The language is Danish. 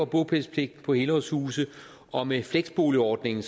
bopælspligt på helårshuse og med fleksboligordningen